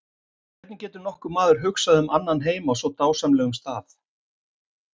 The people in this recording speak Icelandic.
Hvernig getur nokkur maður hugsað um annan heim á svona dásamlegum stað.